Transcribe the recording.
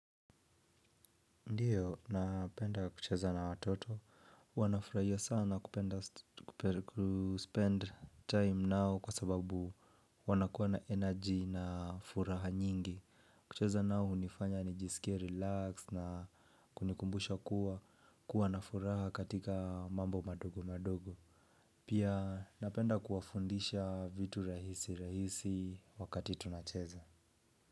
Ndiyo napenda kucheza na watoto wanafurahia sana kupenda kuspend time nao kwa sababu wanakuwa na energy na furaha nyingi. Kucheza nao hunifanya nijisikie relaxed na kunikumbusha kuwa kuwa na furaha katika mambo madogo madogo. Pia napenda kuwafundisha vitu rahisi rahisi wakati tunacheza.